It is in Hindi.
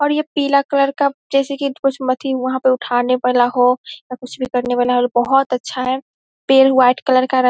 और ये पीले कलर का जैसे की कुछ मेथी वहाँ पे उठाने वाला हो या कुछ करने वाला हो | ये बोहोत अच्छा है पेड़ व्हाइट कलर का र --